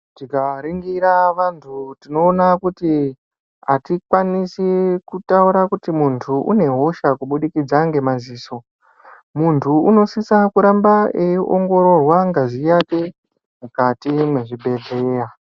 Tingaringira vanthu tinoona kuti atikwanisi kutaura kuti munhtu une hosha kubudikida ngemadziso. Munthu unosisa kuramba eingororwa ngazi yake mukati mezvibehlera .